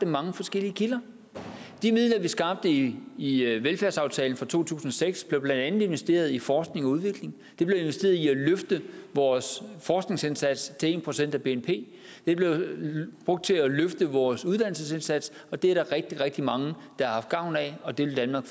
mange forskellige kilder de midler vi skabte i i velfærdsaftalen fra to tusind og seks blev blandt andet investeret i forskning og udvikling de blev investeret i at løfte vores forskningsindsats til en procent af bnp de blev brugt til at løfte vores uddannelsesindsats og det er der rigtig rigtig mange der har haft gavn af og det vil danmark